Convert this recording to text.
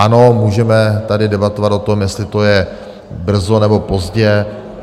Ano, můžeme tady debatovat o tom, jestli to je brzy, nebo pozdě.